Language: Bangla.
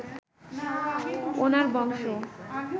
ওনার বংশ